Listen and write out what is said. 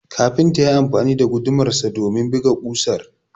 kafintan yayi amfani da gudumarsa domin buga kausar